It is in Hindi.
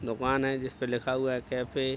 दुकान है जिसपे लिखा हुआ है कैफ़े ।